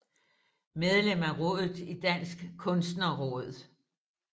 Medlem af rådet i Dansk Kunstnerråd